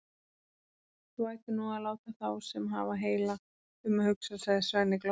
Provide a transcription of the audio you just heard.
Þú ættir nú að láta þá sem hafa heila um að hugsa, sagði Svenni glottandi.